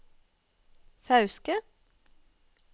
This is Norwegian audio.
Fauske